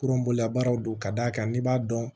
Kurun bololabaaraw don ka d'a kan n'i b'a dɔn